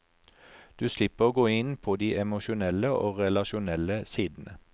Du slipper å gå inn på de emosjonelle og relasjonelle sidene.